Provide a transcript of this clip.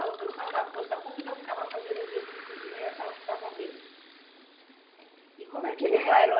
A pessoa da Força Pública ficava fazendo exercícios de manhã e a senhora ficava vendo? E como é que era